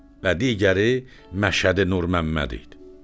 Və digəri Məşədi Nurməmməd idi.